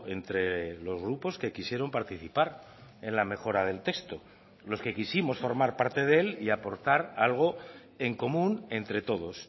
entre los grupos que quisieron participar en la mejora del texto los que quisimos formar parte de él y aportar algo en común entre todos